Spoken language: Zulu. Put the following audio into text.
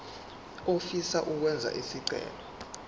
ofisa ukwenza isicelo